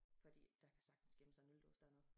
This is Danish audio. Fordi der kan sagtens gemme sig en øldåse dernede